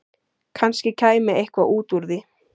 Kannski kæmi eitthvað út úr því.